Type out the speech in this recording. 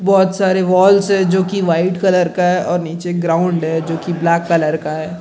बहुत सारे वाल्स है जो की वाइट कलर है नीचे ग्राउंड है जो की ब्लैक कलर का है ।